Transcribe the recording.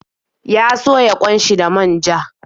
Ya soya ƙwan shi da manja.